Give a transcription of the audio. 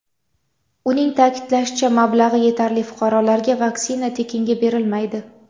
Uning ta’kidlashicha, mablag‘i yetarli fuqarolarga vaksina tekinga berilmaydi.